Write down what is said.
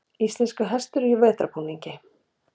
íslenskur hestur í vetrarbúningi